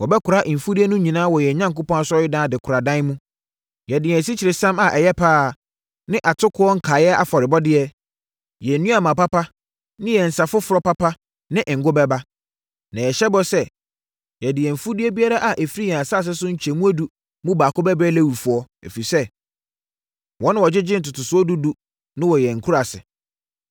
“Yɛbɛkora mfudeɛ no nyinaa wɔ yɛn Onyankopɔn Asɔredan adekoradan mu. Yɛde yɛn asikyiresiam a ɛyɛ pa ara ne atokoɔ nkaeɛ afɔrebɔdeɛ, yɛn nnuaba papa ne yɛn nsã foforɔ papa ne ngo bɛba. Na yɛhyɛ bɔ sɛ, yɛde yɛn mfudeɛ biara a ɛfiri yɛn asase so nkyɛmu edu mu baako bɛbrɛ Lewifoɔ, ɛfiri sɛ, wɔn na wɔgyegye ntotosoɔ dudu no wɔ yɛn nkuraase.